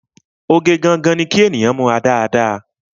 Oge gangan ni kí ènìyàn múra dáadáa